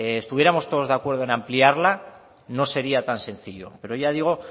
estuviéramos todos de acuerdo en ampliarla no sería tan sencillo pero ya digo